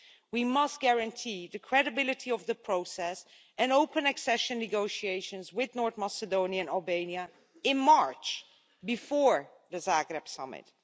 We must guarantee the credibility of the process and open accession negotiations with North Macedonia and Albania in March, before the Zagreb Summit.